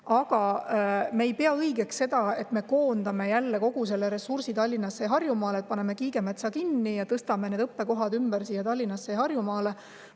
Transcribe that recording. Aga me ei pea õigeks seda, et me jälle kogu ressursi Tallinnasse ja Harjumaale koondame, et paneme Kiigemetsa kinni ja tõstame need õppekohad Tallinnasse või Harjumaale ümber.